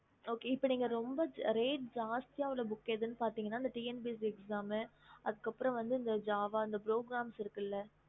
இப்போ ரொம்ப சத்திய உள்ள book எதுன்னு பத்தின TNPSC java book அந்தமரித்த அதுக்கு அப்புறம் வந்து java progeam இருக்கு இல்ல